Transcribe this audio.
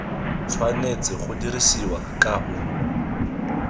tshwanetse go dirisiwa ka o